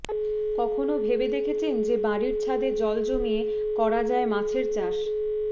কখনও ভেবে দেখেছেন যে বাড়ির ছাদে জল জমিয়ে করা যায় মাছের চাষ